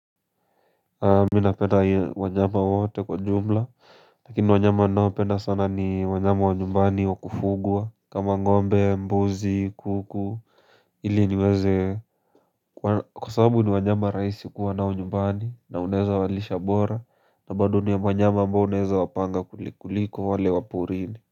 Mimi napenda wanyama wote kwa jumla Lakini wanyama ninaopenda sana ni wanyama wa nyumbani wa kufugwa kama ngombe mbuzi kuku ili niweze kwa sababu ni wanyama rahisi kuwa nao nyumbani na unaeza walisha bora na bado ni wanyama ambao unaeza wapanga kuliko wale waporini.